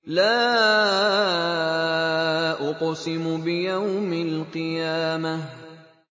لَا أُقْسِمُ بِيَوْمِ الْقِيَامَةِ